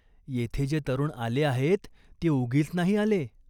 येथे जे तरुण आले आहेत, ते उगीच नाही आले.